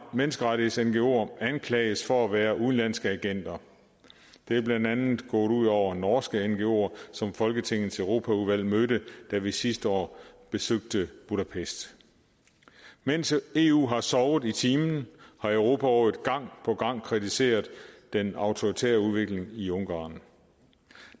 menneskerettigheds ngoere anklages for at være udenlandske agenter det er blandt andet gået ud over norske ngoere som folketingets europaudvalg mødte da vi sidste år besøgte budapest mens eu har sovet i timen har europarådet gang på gang kritiseret den autoritære udvikling i ungarn